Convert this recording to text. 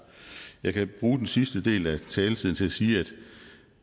jeg kan bruge den sidste del af taletiden til at sige